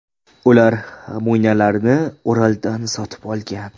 Ular mo‘ynalarni Uraldan sotib olgan.